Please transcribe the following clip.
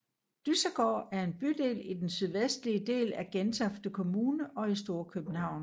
Dyssegård er en bydel i den sydvestlige del af Gentofte Kommune og i Storkøbenhavn